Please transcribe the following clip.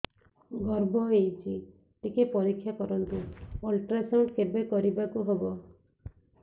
ଗର୍ଭ ହେଇଚି ଟିକେ ପରିକ୍ଷା କରନ୍ତୁ ଅଲଟ୍ରାସାଉଣ୍ଡ କେବେ କରିବାକୁ ହବ